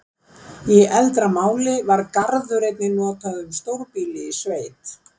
Í eldra máli var garður einnig notað um stórbýli í sveit.